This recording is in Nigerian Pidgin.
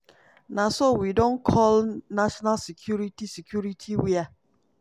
na so we don call national security security wia